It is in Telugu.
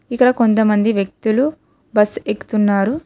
ఇక్కడ కొంతమంది వ్యక్తులు బస్సు ఎక్కుతున్నారు.